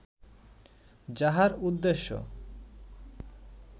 যাহার উদ্দেশ্য